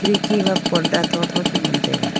eki wa porda tho tho chu ngan taiga.